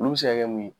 Olu bɛ se ka kɛ mun ye